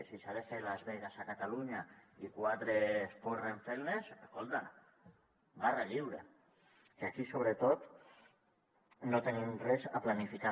si s’ha de fer las vegas a catalunya i quatre es forren fent les escolta barra lliure que aquí sobretot no tenim res a planificar